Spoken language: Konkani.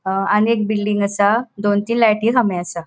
हा आणि एक बिल्डिंग असा दोन तीन लायटी खामे असा.